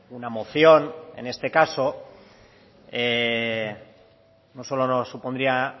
una moción en este caso no solo no supondría